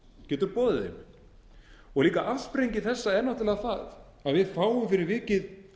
getur boðið þeim afsprengi þessa er náttúrlega það að við fáum fyrir vikið